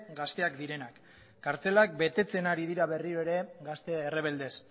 gazteak direnak kartzela betetzen ari dira berriro ere gazte errebeldez